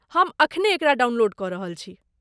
हम एखने एकरा डाउनलोड कऽ रहल छी।